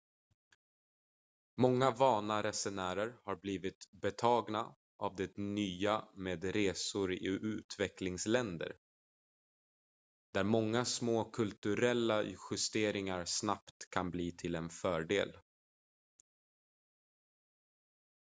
många vana resenärer har blivit betagna av det nya med resor i utvecklingsländer där många små kulturella justeringar snabbt kan bli till en fördel